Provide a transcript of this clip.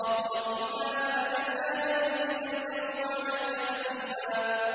اقْرَأْ كِتَابَكَ كَفَىٰ بِنَفْسِكَ الْيَوْمَ عَلَيْكَ حَسِيبًا